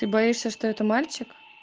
ты боишься что это мальчик